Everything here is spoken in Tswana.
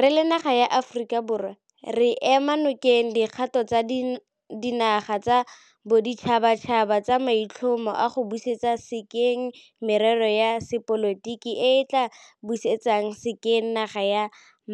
Re le naga ya Aforika Borwa re ema nokeng dikgato tsa dinaga tsa boditšhabatšhaba tsa maitlhomo a go busetsa sekeng merero ya sepolotiki e e tla busetsang sekeng naga ya